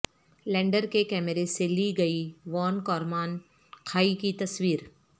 lander کے کیمرے سے لی گئی وان کارمان کھائی کی تصویر